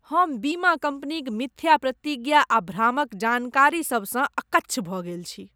हम बीमा कंपनीक मिथ्या प्रतिज्ञा आ भ्रामक जानकारी सभसँ अकच्छ भऽ गेल छी।